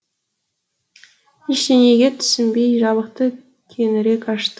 ештеңеге түсінбей жабықты кеңірек ашты